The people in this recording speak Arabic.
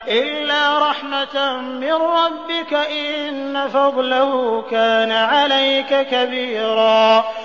إِلَّا رَحْمَةً مِّن رَّبِّكَ ۚ إِنَّ فَضْلَهُ كَانَ عَلَيْكَ كَبِيرًا